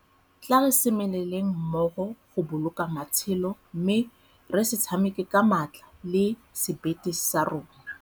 Tla re semeleleng mmogo goboloka matshelo mme re se tshameke ka maatla le sebete sa rona.